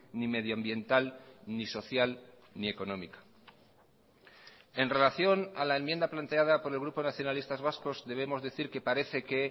ni medioambiental ni social ni económica en relación a la enmienda planteada por el grupo nacionalistas vascos debemos decir que parece que